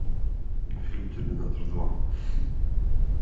фильм терминатор два